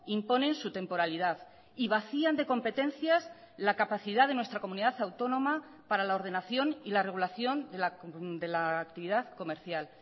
imponen su temporalidad y vacían de competencias la capacidad de nuestra comunidad autónoma para la ordenación y la regulación de la actividad comercial